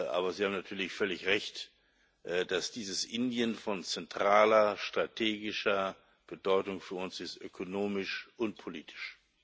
Aber Sie haben natürlich völlig Recht, dass dieses Indien von zentraler strategischer Bedeutung für uns ist, ökonomisch und politisch.